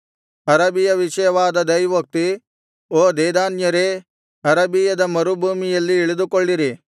ಅರಬಿಯ ವಿಷಯವಾದ ದೈವೋಕ್ತಿ ಓ ದೇದಾನ್ಯರೇ ಅರಬಿಯದ ಮರುಭೂಮಿಯಲ್ಲಿ ಇಳಿದುಕೊಳ್ಳಿರಿ